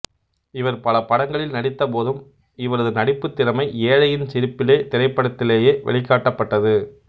இவர் பலபடங்களில் நடித்தபோதும் இவரது நடிப்புத்திறமை ஏழையின் சிரிப்பிலே திரைப்படத்திலேயே வெளிக்காட்டப்பட்டது